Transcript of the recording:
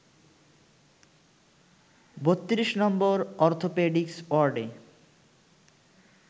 ৩২ number orthopaedics ওয়ার্ডে